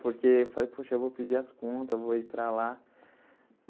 Porque falei, poxa, vou pedir as contas, vou ir para lá.